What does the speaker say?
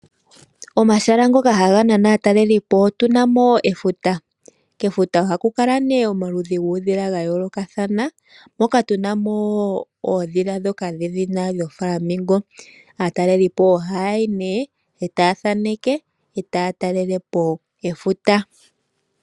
Omahala ngoka haga nana aatalelelipo otu na mo efuta, kefuta ohaku kala nee omaludhi guudhila ga yoolokathana moka tu na mo oondhila oontokele. Aatalelelipo ohaya yi nee e taya thaneke, taya talelepo efuta.